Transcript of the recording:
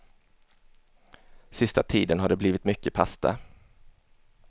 Sista tiden har det blivit mycket pasta.